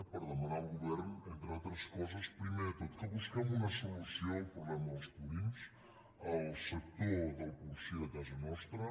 per demanar al govern entre altres coses primer de tot que busquem una solució al problema dels purins al sector del porcí de casa nostra